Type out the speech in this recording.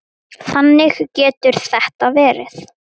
Þannig getur þetta verið.